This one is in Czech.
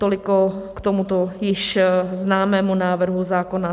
Toliko k tomuto již známému návrhu zákona.